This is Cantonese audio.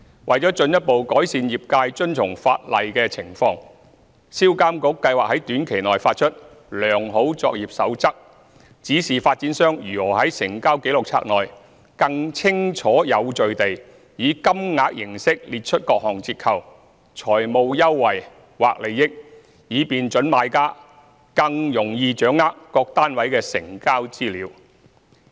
為進一步改善業界遵從法例的情況，銷監局計劃在短期內發出"良好作業守則"，指示發展商如何在成交紀錄冊內，更清晰有序地以金額形式列出各項折扣、財務優惠或利益，以便準買家更易掌握各單位的成交資料。